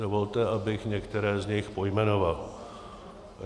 Dovolte, abych některé z nich pojmenoval.